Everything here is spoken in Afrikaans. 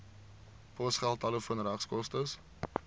posgeld telefoon regskoste